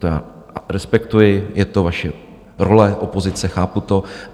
To já respektuji, je to vaše role opozice, chápu to.